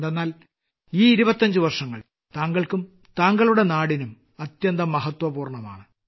എന്തെന്നാൽ ഈ 25വർഷങ്ങൾ താങ്കൾക്കും താങ്കളുടെ ദേശത്തിനും അത്യന്തം മഹത്വപൂർണമാണ്